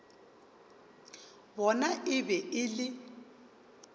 bona e be e le